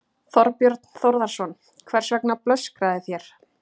Þorbjörn Þórðarson: Hvers vegna blöskraði þér?